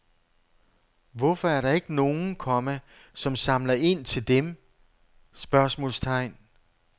Hvorfor er der ikke nogen, komma som samler ind til dem? spørgsmålstegn